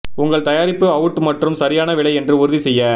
உங்கள் தயாரிப்பு அவுட் மற்றும் சரியான விலை என்று உறுதி செய்ய